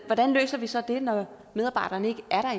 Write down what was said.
hvordan løser vi så det når medarbejderne ikke er